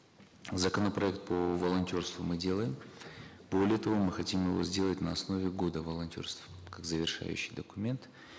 законопроект по волонтерству мы делаем более того мы хотим его сделать на основе года волонтерства как завершающий документ